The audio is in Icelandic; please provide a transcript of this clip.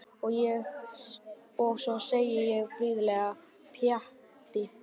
Og svo segi ég blíðlega: Pjatti.